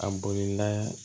A bolila